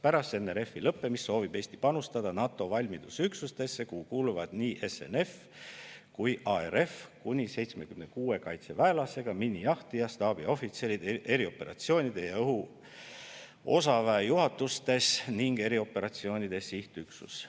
Pärast NRF-i lõppemist soovib Eesti panustada NATO valmidusüksustesse, kuhu kuuluvad nii SNF kui ka ARF, kuni 76 kaitseväelasega, miinijahtija, staabiohvitserid erioperatsioonide ja õhuosaväe juhatustes ning erioperatsioonide sihtüksus.